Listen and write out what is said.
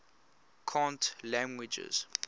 cant languages